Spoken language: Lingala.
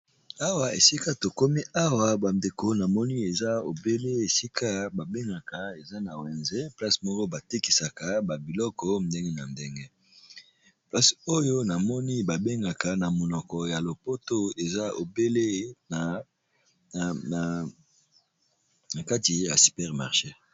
Awa esika tokomi bandeko namoni obele esika babengaka eza na wenze place moko batekisa ba biloko ndenge na ndenge namoni babengaka na monoko ya lopoto super marché.